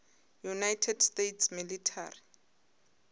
united states military